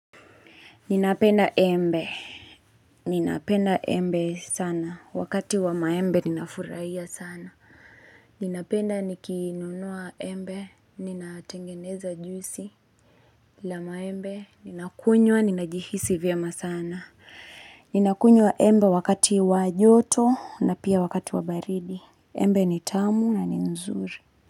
Ninapenda embe, ninapenda embe sana, wakati wa maembe ninafurahia sana. Ninapenda nikinunua embe, ninatengeneza juisi la maembe, ninakunywa, ninajihisi vyema sana. Ninakunywa embe wakati wa joto na pia wakati wa baridi. Embe ni tamu na ni nzuri.